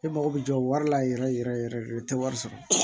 E mago bɛ jɔ wari la yɛrɛ yɛrɛ yɛrɛ yɛrɛ de o tɛ wari sɔrɔ